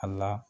A la